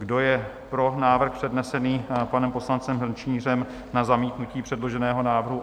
Kdo je pro návrh přednesený panem poslancem Hrnčířem na zamítnutí předloženého návrhu?